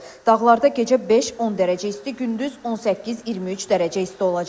Dağlarda gecə 5-10 dərəcə isti, gündüz 18-23 dərəcə isti olacaq.